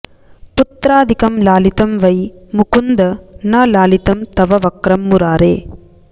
पुत्रादिकं लालितं वै मुकुन्द न लालितं तव वक्रं मुरारे